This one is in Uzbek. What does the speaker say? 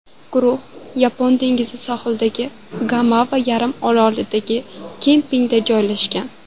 Guruh Yapon dengizi sohilidagi Gamova yarimorolidagi kempingga joylashgan.